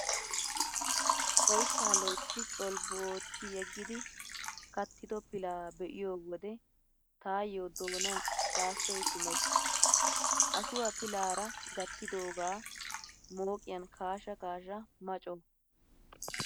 Oyssaa loytti colbbu ootti yeggidi kattido pilaa be'iyo wode taayyo doonan saassoy kumees. Ashuwaa pilaara gattidoogaa mooqiyan kaasha kaasha ma coo!!.